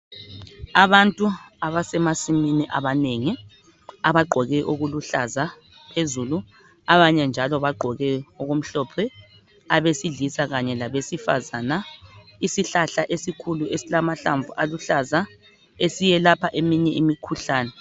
Abantu abasemasimini abanengi abagqoke okuluhlaza phezulu abanye njalo bagqoke okumhlophe abesilisa kanye labesifazana isihlahla esikhulu esilamahlamvu aluhlaza esiyelapha eminye imikhuhlani